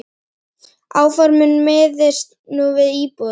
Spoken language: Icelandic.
Áformin miðist nú við íbúðir.